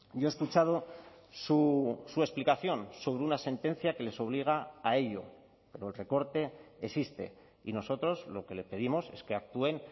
yo he escuchado su explicación sobre una sentencia que les obliga a ello pero el recorte existe y nosotros lo que le pedimos es que actúen